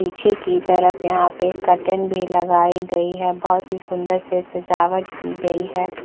पीछे की तरफ यहाँ पे कर्टेन भी लगाई गई है बहोत ही सुन्दर से सजावट की गई है।